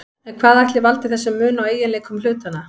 En hvað ætli valdi þessum mun á eiginleikum hlutanna?